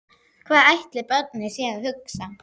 Hvað ætli barnið sé að hugsa?